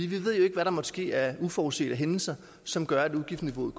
vi ved jo ikke hvad der måtte ske af uforudsete hændelser som gør at udgiftsniveauet